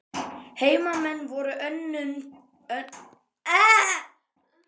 Heimamenn voru önnum kafnir við smíðarnar.